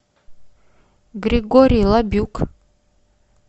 григорий лабюк